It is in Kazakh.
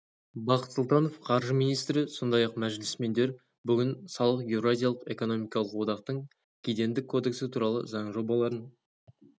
бақыт сұлтанов қаржы министрі сондай-ақ мәжілісмендер бүгін салық еуразиялық экономикалық одақтың кедендік кодексі туралы заң жобаларын